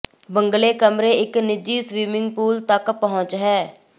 ਬੰਗਲੇ ਕਮਰੇ ਇੱਕ ਨਿੱਜੀ ਸਵਿਮਿੰਗ ਪੂਲ ਤੱਕ ਪਹੁੰਚ ਹੈ